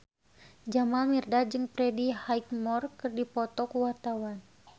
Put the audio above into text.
Jamal Mirdad jeung Freddie Highmore keur dipoto ku wartawan